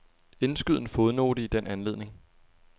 Indskyd en fodnote i den anledning.